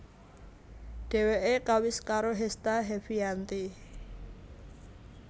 Dheweke kawis karo Hesta Heviyanti